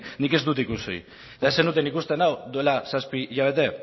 nik ez dut ikusi eta ez zenuten ikusten hau duela zazpi hilabete